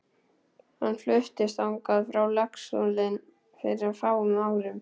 Hann fluttist þangað frá Laxalóni fyrir fáum árum.